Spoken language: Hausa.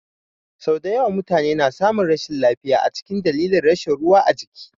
Sau dayawa mutune na samun rashin lafiya a dalilin rashin ruwa ajiki